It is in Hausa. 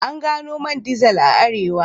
An gano man dizel a Arewa.